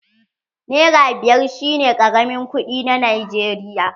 Nera biyar shi ne karamin kuɗi na Najeriya.